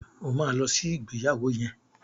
O ma lọ sí ìgbéyàwó yẹn!